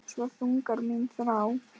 Svo þung er mín þrá.